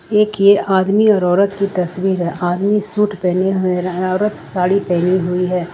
एक ये आदमी और औरत की तस्वीर है आदमी सूट पहने हुए औरत साड़ी पहनी हुई है।